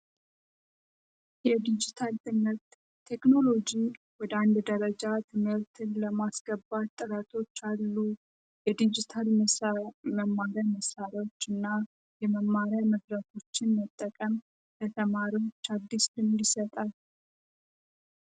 የዲጅታል ትምህርት ቴክኖሎጂ ወደ አንድ ደረጃ ትምህርትን ለማስገባት ጥረቶች አሉ። ይህም የዲጅታል መሳሪያዎች እና መማሪያ መሳሪያዎች መጠቀም ለተማሪዎች አዲስ ልምድ ይሰጣል።